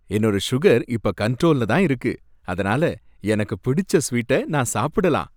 என்னோட சுகர் இப்ப கண்ட்ரோல்ல தான் இருக்கு, அதனால எனக்கு பிடிச்ச ஸ்வீட்டை நான் சாப்பிடலாம்.